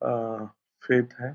आ faith है।